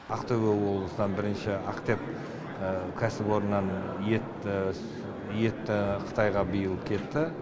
ақтөбе облысынан бірінші ақтеп кәсіпорнынан ет қытайға биыл кетті